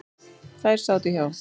Þær sátu hjá.